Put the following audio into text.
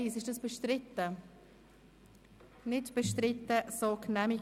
Damit kommen wir zur Detailberatung.